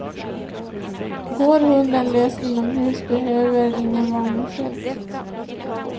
Går hunden lös inomhus behövs ingen varningsskylt.